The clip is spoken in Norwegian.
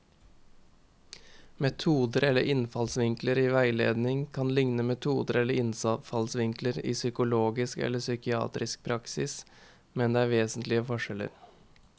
Metoder eller innfallsvinkler i veiledning kan likne metoder eller innfallsvinkler i psykologisk eller psykiatrisk praksis, men det er vesentlige forskjeller.